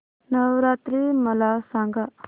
नवरात्री मला सांगा